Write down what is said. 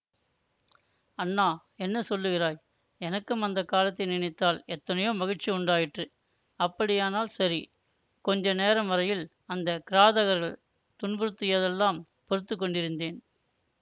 அண்ணா என்ன சொல்லுகிறாய் எனக்கும் அந்த காலத்தை நினைத்தால் எத்தனையோ மகிழ்ச்சி உண்டாயிற்று அப்படியானால் சரி கொஞ்ச நேரம் வரையில் அந்த கிராதகர்கள் துன்புறுத்தியதெல்லாம் பொறுத்து கொண்டிருந்தேன்